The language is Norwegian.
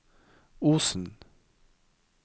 Osen